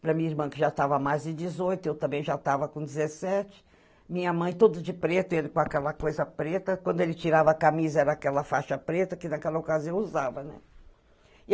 para minha irmã que já tava mais de dezoito , eu também já tava com dezessete, minha mãe toda de preto, ele com aquela coisa preta, quando ele tirava a camisa era aquela faixa preta, que naquela ocasião eu usava, né?